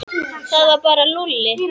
Það var þá bara Lúlli.